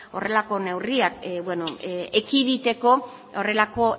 horrelako neurriak ekiditeko horrelako